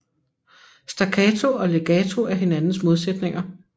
Staccato og legato er hinandens modsætninger